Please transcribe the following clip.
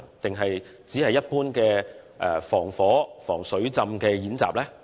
抑或只是一般的防火、防水浸演習？